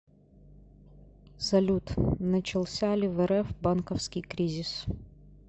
салют начался ли в рф банковский кризис